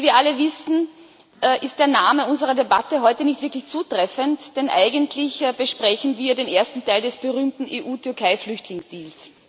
Wie wir alle wissen, ist der Name unserer Debatte heute nicht wirklich zutreffend, denn eigentlich besprechen wir den ersten Teil des berühmten EU-Türkei-Flüchtlingsdeals.